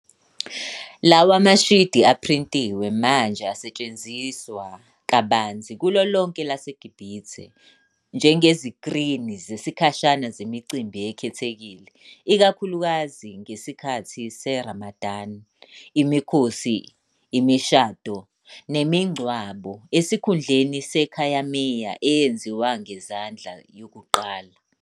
Lawa mashidi aphrintiwe manje asetshenziswa kabanzi kulo lonke elaseGibhithe njengezikrini zesikhashana zemicimbi ekhethekile, ikakhulukazi ngesikhathi seRamadan, imikhosi, imishado, nemingcwabo, esikhundleni sekhayamiya eyenziwe ngezandla yokuqala.